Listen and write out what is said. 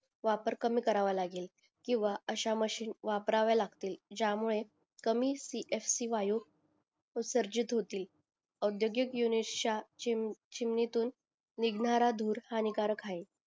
वापर कमी करावं लगेल किंवा अश्या मशीन वापराव्या लागतील ज्या मुळे कमी सी एफ सी वायू उसर्जित होतील अव्ध्योगीत युनिशः च्या चिमणीतून निघणारा धूर हा हानिकारक आहे